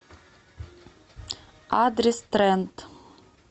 адрес тренд